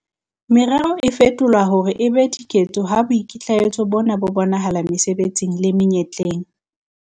Merero e fetolwa hore e be diketso ha boikitlaetso bona bo bonahala mesebetsing le menyetleng.